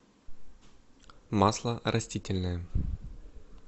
масло растительное